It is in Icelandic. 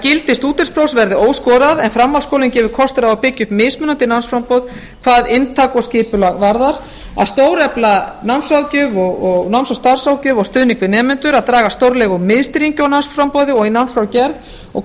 gildi stúdentsprófs verði óskorað en framhaldsskólinn gefur kost á að byggja upp mismunandi námsframboð hvað inntak og skipulag varðar að stórefla námsráðgjöf og stuðning við nemendur að draga stórlega úr miðstýringu á námsframboði og námsskrárgerð og